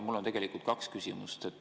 Mul on tegelikult kaks küsimust.